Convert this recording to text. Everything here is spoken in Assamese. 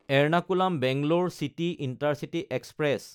Ernakulam Bangalore city intercity express